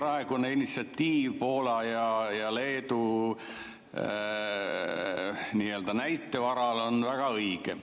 Ja see praegune initsiatiiv Poola ja Leedu näite varal on väga õige.